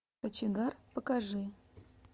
кочегар покажи